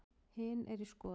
Hin er í skoðun.